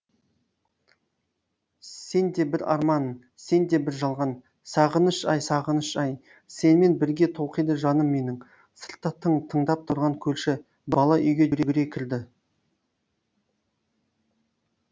сен де бір арман сен де бір жалған сағыныш ай сағыныш ай сенімен бірге толқиды жаным менің сыртта тың тыңдап тұрған көрші бала үйге жүгіре кірді